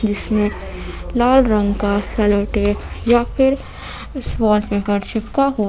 जिसमें लाल रंग का कलर टेप या फिर पेपर चिपका हुआ--